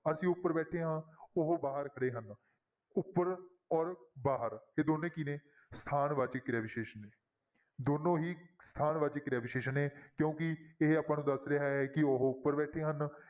ਅਸੀਂ ਉੱਪਰ ਬੈਠੇ ਹਾਂਂ ਉਹ ਬਾਹਰ ਖੜੇ ਹਨ, ਉੱਪਰ ਔਰ ਬਾਹਰ ਇਹ ਦੋਨੇਂ ਕੀ ਨੇ ਸਥਾਨ ਵਾਚਕ ਕਿਰਿਆ ਵਿਸ਼ੇਸ਼ਣ, ਦੋਨੋਂ ਹੀ ਸਥਾਨ ਵਾਚਕ ਕਿਰਿਆ ਵਿਸ਼ੇਸ਼ਣ ਨੇ ਕਿਉਂਕਿ ਇਹ ਆਪਾਂ ਨੂੰ ਦੱਸ ਰਿਹਾ ਹੈ ਕਿ ਉਹ ਉੱਪਰ ਬੈਠੇ ਹਨ,